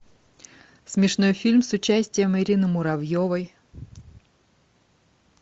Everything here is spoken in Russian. смешной фильм с участием ирины муравьевой